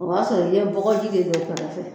O b'a sɔrɔ i ye bɔgɔji de don kɛrɛ fɛ.